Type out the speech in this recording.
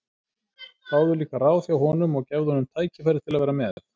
Fáðu líka ráð hjá honum og gefðu honum tækifæri til að vera með.